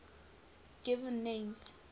given names